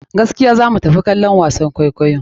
Gaskiya za mu tafi kallon wasan kwaikwayo.